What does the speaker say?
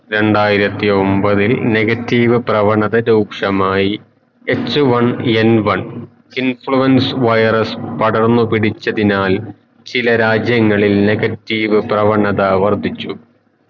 രണ്ടായിരത്തി ഒമ്പതിൽ negative പ്രവണത രൂക്ഷമായി HoneNone influence virus പടർന്നു പിടിച്ചതിനാൽ ചില രാജ്യങ്ങളിൽ negative പ്രവണത വർധിച്ചു